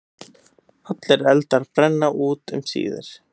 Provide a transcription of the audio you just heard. Allir eldar brenna út um síðir.